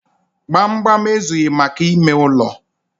Gbamgbam ezughị maka ime ụlọ.